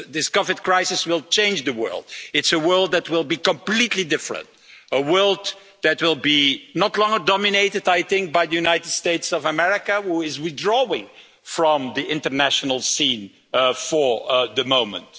This Covid crisis will change the world. It is a world that will be completely different, a world that will no longer be dominated, I think, by the United States of America who is withdrawing from the international scene for the moment.